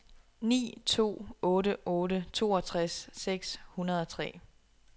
ni to otte otte toogtres seks hundrede og tre